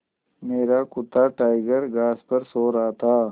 मेरा कुत्ता टाइगर घास पर सो रहा था